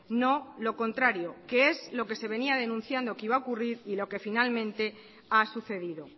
no lo contrario que es lo que se venía denunciando lo que iba a ocurrir y lo que finalmente ha sucedido